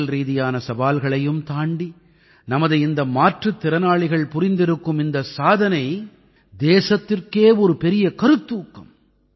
உடல்ரீதியிலான சவால்களையும் தாண்டி நமது இந்த மாற்றுத்திறனாளிகள் புரிந்திருக்கும் இந்த சாதனை தேசத்திற்கே ஒரு பெரிய கருத்தூக்கம்